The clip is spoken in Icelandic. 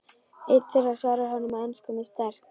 Einn þeirra svarar honum á ensku með sterk